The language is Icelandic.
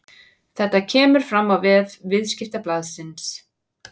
Þetta kemur fram á vef Viðskiptablaðsins